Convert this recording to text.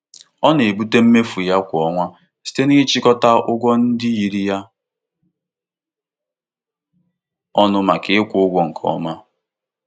Onye na-eme atụmatụ ego nyere nkwado iburu ụzọ kwụọ ụgwọ kaadị kredit gafeerela maka izere ụgwọ n'oge.